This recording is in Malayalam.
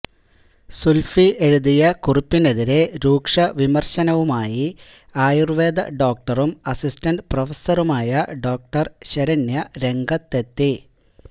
സുൽഫി എഴുതിയ കുറിപ്പിനെതിരെ രൂക്ഷവിമർശനവുമായി ആയുർവേദ ഡോക്ടറും അസിസ്റ്റന്റ് പ്രഫസറുമായ ഡോ ശരണ്യ രംഗത്തെത്തി